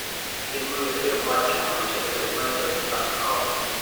прямой эфир матча манчестер юнайтед с арсеналом